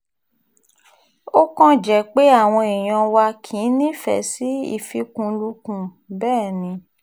ó kàn jẹ́ pé àwọn èèyàn wa kì í nífẹ̀ẹ́ sí ìfikùnlukùn bẹ́ẹ̀ ni